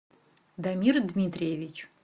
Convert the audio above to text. дамир дмитриевич